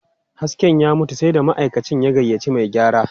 Hasken ya mutu, sai da ma'aikacin ya gayyaci mai gyara.